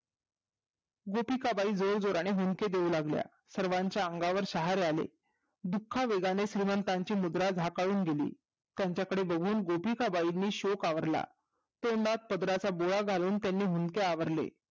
गोपिकाबाई जोर जोराने हुंदके देऊ लागल्या सर्वांच्या अंगावर शहारे आले दुःख वेगाने श्रीमंताची मुद्रा जाकावून गेली त्याच्या कडे बघून गोपिकाबाईनी शोक आवरला तोंडात पदराचा गोळा घालून त्यानी हुंदके आवरले